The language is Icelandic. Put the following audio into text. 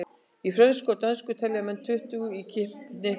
Í frönsku og dönsku telja menn tuttugu í knippið.